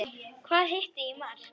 Hvað hittir í mark?